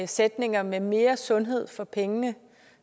sætningen om mere mere sundhed for pengene